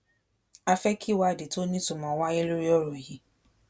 a fẹ́ kí ìwádìí tó nítumọ̀ wáyé lórí ọ̀rọ̀ yìí